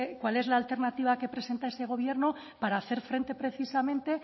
cuál es la alternativa que presenta este gobierno para hacer frente precisamente